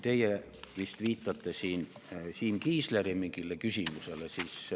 Teie vist viitate siin Siim Kiisleri mingile küsimusele.